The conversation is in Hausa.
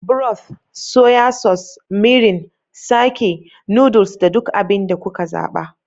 Broth, soya sauce, mirin, sake, noodles, da duk abin da kuka zaɓa.